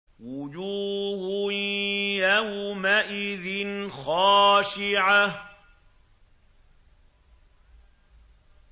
وُجُوهٌ يَوْمَئِذٍ خَاشِعَةٌ